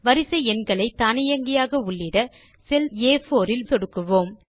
வரிசை எண்களை தானியங்கியாக உள்ளிட செல் A4இல் சொடுக்குவோம்